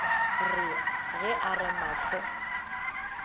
re ge a re mahlo